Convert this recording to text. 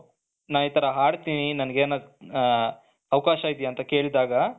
ನಾನು ಇತರ ಹಾಡ್ತೀನಿ ನನಗೆ ಏನ್ ಹ ಅವಕಾಶ ಇದ್ಯಾ ಅಂತ ಕೇಳಿದಾಗ.